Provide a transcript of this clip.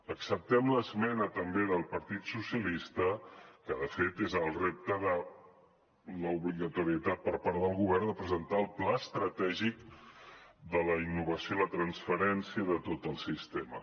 acceptem l’esmena també del partit socialista que de fet és el repte de l’obligatorietat per part del govern de presentar el pla estratègic de la innovació i la transferència de tot el sistema